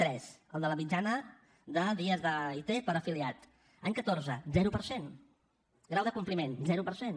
tres el de la mitjana de dies d’it per afiliat any catorze zero per cent grau de compliment zero per cent